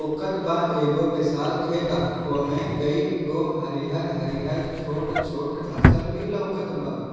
लौकत बा एगो विशाल खेत हई ओय में कई गो हरिहर-हरिहर छोट-छोट फसल भी लौकत बा।